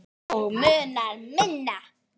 Og munar um minna!